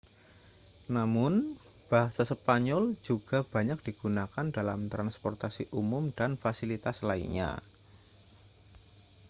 namun bahasa spanyol juga banyak digunakan dalam transportasi umum dan fasilitas lainnya